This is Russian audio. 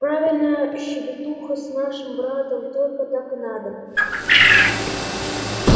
правильно щебетуха с нашим братом только так и надо